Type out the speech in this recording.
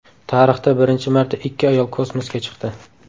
Tarixda birinchi marta ikki ayol kosmosga chiqdi.